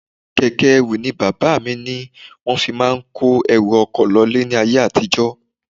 Keke ẹrù ni bàbá mi ní wọ́n fi máa ń kó ẹrù oko lọ ilé ní ayé àtijó.